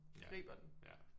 Ja ja